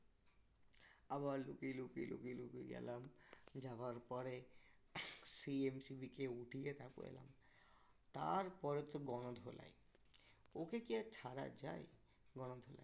আবার লুকিয়ে লুকিয়ে লুকিয়ে লুকিয়ে গেলাম যাওয়ার পরে সেই MCB কে উঠিয়ে তারপর এলাম তারপরে তো গণধোলাই ওকে কি আর ছাড়া যায়? গণধোলাই